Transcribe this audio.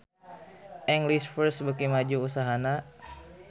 English First beuki maju usahana